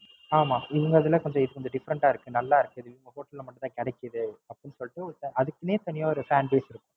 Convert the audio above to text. ஆமா இங்க, இதுல கொஞ்சம் Fifferent ஆ இருக்கு. நல்லா இருக்கு. சரி நம்ம Hotel ல மட்டும் தான் கிடைக்குது. அப்படின்னு சொல்லிட்டு, அதுக்குன்னே தனியா Fanbase இருக்கும்.